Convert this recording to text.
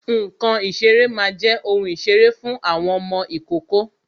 Ǹkan ìṣeré máa jẹ́ ohun ìṣeré fún ọmọ ìkókó